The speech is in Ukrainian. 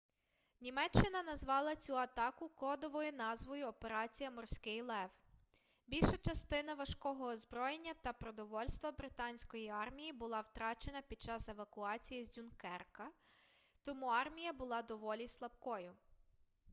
німеччина назвала цю атаку кодовою назвою операція морський лев більша частина важкого озброєння та продовольства британської армії була втрачена під час евакуації з дюнкерка тому армія була доволі слабкою